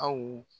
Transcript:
Aw